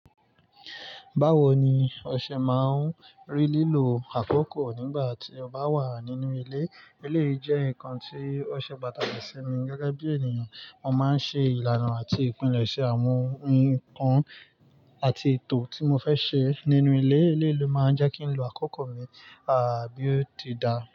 Báwo ni o ṣe má ń rí lílo àkókò nígbà tí o bá wà nínú ilé? Ilé jẹ́ ǹkan tí ó ṣe pàtàkì sí mi gẹ́gẹ́ bí ènìyàn. Mo máa ń ṣe ìlànà àti ìpilẹ̀ṣẹ̀ àwọn ǹkan àti ètò tí mo fẹ́ ṣe nínú ilé. Ilé ló máa ń jẹ́ kí ń lo àkókò mi, àbí ó ti dáa?